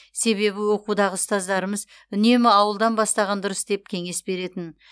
себебі оқудағы ұстаздарымыз үнемі ауылдан бастаған дұрыс деп кеңес беретін